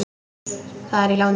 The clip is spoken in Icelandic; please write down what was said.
Það er í láni.